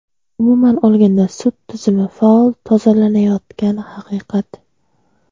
"Umuman olganda sud tizimi faol "tozalanayotgani" haqiqat.